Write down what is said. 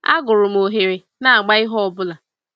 Agụrụ m oghere n'agba ihe ọbụla.